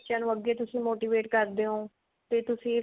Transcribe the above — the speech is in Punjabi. ਬੱਚਿਆਂ ਨੂੰ ਅੱਗੇ ਤੁਸੀਂ motivate ਹੋ ਤੇ ਤੁਸੀਂ